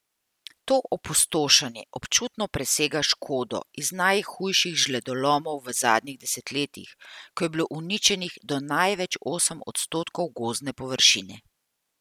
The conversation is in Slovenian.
To opustošenje občutno presega škodo iz najhujših žledolomov v zadnjih desetletjih, ko je bilo uničenih do največ osem odstotkov gozdne površine.